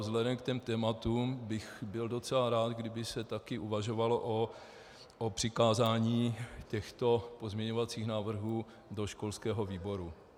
Vzhledem k těm tématům bych byl docela rád, kdyby se taky uvažovalo o přikázání těchto pozměňovacích návrhů do školského výboru.